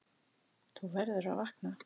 Þú verður að vakna.